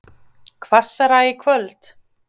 Hvassara í kvöld